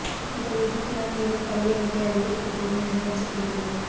இந்த விபத்தினால் மேலும் பலி எண்ணிக்கை அதிகரிக்க கூடும் என அஞ்சப்படுகிறது